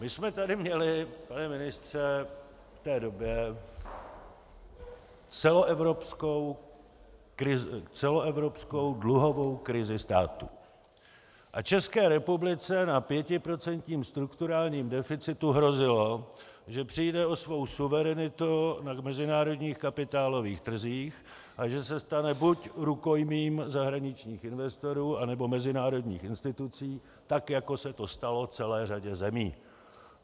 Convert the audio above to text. My jsme tady měli, pane ministře, v té době celoevropskou dluhovou krizi státu a České republice na pětiprocentním strukturálním deficitu hrozilo, že přijde o svou suverenitu na mezinárodních kapitálových trzích a že se stane buď rukojmím zahraničních investorů, anebo mezinárodních institucí tak, jako se to stalo celé řadě zemí.